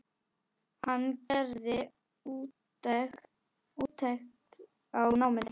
Hann gerði úttekt á náminu.